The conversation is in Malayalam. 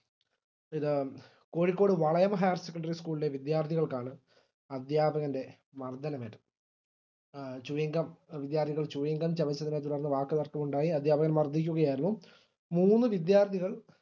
ഇത് Kozhikode Valayam higher secondary school ലെ വിദ്യാർത്ഥികൾക്കാണ് അദ്ധ്യാപകന്റെ മർദ്ദനമേറ്റത് ആ chewing gum വിദ്യാർഥികൾ chewing gum ചവച്ചതിനെ തുടർന്ന് വാക്കുതർക്കം ഉണ്ടായി അധ്യാപകൻ മർദിക്കുകയായിരുന്നു മൂന്ന് വിദ്യാർത്ഥികൾ